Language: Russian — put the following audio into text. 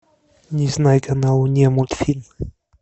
незнайка на луне мультфильм